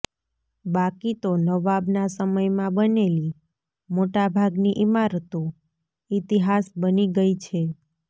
બાકી તો નવાબના સમયમાં બનેલી મોટાભાગની ઇમારતો ઇતિહાસ બની ગઇ છે